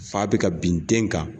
Fa be ka bin den kan.